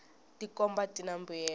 tikhomba tina mbuyelo